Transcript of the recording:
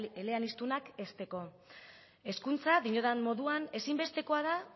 eleanizdunak hezteko hezkuntza diodan moduan ezinbestekoa da